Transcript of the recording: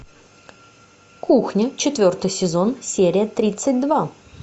кухня четвертый сезон серия тридцать два